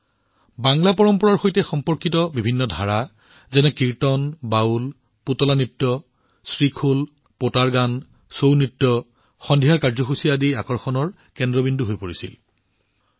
কীৰ্তন বাউল গদিয়ো নৃতো শ্ৰীখোল পোটাৰ গান চৌনাচ আদি বঙালী পৰম্পৰাৰ সৈতে সম্পৰ্কিত বিভিন্ন ধাৰা সন্ধিয়াৰ কাৰ্যসূচীত আকৰ্ষণৰ কেন্দ্ৰবিন্দু হৈ পৰিছিল